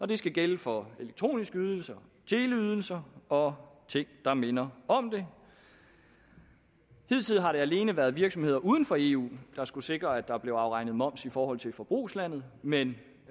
det skal gælde for elektroniske ydelser teleydelser og ting der minder om det hidtil har det alene været virksomheder uden for eu der skulle sikre at der blev afregnet moms i forhold til forbrugslandet men